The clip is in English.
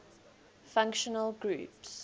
functional groups